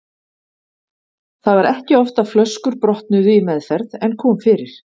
Það var ekki oft að flöskur brotnuðu í meðferð en kom fyrir.